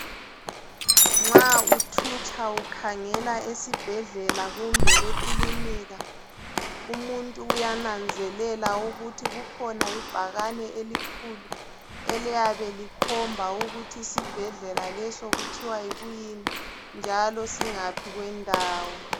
Nxa uthutsha ukhangela esibhedlela kumbe ekilinika umuntu uyananzelela ukuthi kukhona ibhakane elikhulu eliyabe likhomba ukuthi isibhedlela leso kuthwa yikuyini njalo singaphi kwendawo.